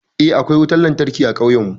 Eh, akwai wutan lantarki a ƙauyan mu.